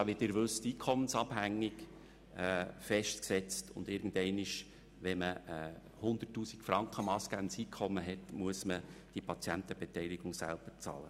Wie Sie wissen, ist sie einkommensabhängig festgesetzt, und wenn das massgebende Einkommen 100 000 Franken beträgt, muss man die Patientenbeteiligung selber bezahlen.